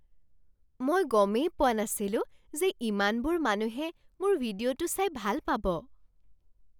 মই গমেই পোৱা নাছিলো যে ইমানবোৰ মানুহে মোৰ ভিডিঅ'টো চাই ভাল পাব!